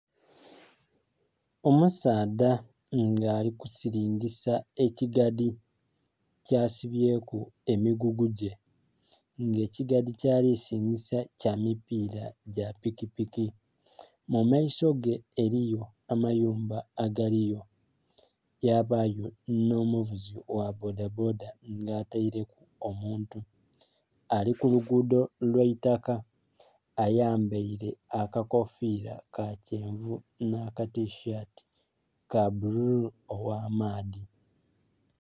Omusaadha nga ali kusiringisa ekigadhi kyasibyeku emigugu gye nga ekigadhi kyalirisiringisa kyamipira gyapiki mumaiso ge eriyo amayumba agaliyo yabayo onomuvuzi gha bboda bboda nga atereku omuntu alikulugudo lwaitaka ayambaire akakofira kakyenvu nakatishati kabbululu ogh'amaadhi.